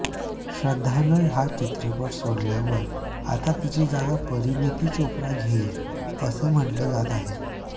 श्रद्धानं हा चित्रपट सोडल्यावर आता तिची जागा परिणीती चोप्रा घेईल असं म्हटलं जात आहे